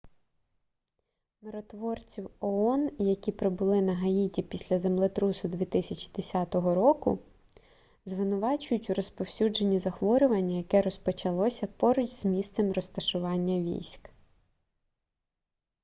миротворців оон які прибули на гаїті після землетрусу 2010 року звинувачують у розповсюдженні захворювання яке розпочалося поруч з місцем розташування військ